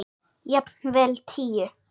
Jafnvel tíu.